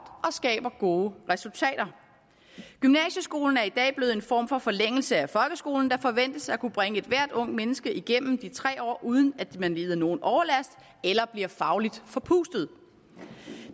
og skaber gode resultater gymnasieskolen er i dag blevet en form for forlængelse af folkeskolen der forventes at kunne bringe ethvert ungt menneske igennem de tre år uden at man lider nogen overlast eller bliver fagligt forpustet